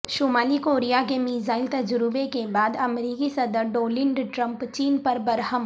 شمالی کوریا کے میزائل تجربے کے بعد امریکی صدر ڈونلڈ ٹرمپ چین پر برہم